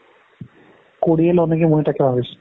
কৰিএ লওঁ নেকি মই তাকে ভাবিছোঁ।